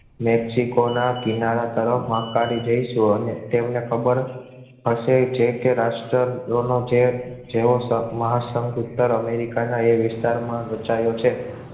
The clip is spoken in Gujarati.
મેક્સિકોના કિનારા તરફ આકાળી જઈશું અને તેમને ખબર હશે જે કે રાષ્ટ્ર દોનો છે જે જેવો મહાસંધ અમેરિકાના એ વિસ્તારમાં રચાયો છે